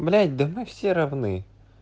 блять да мы все равны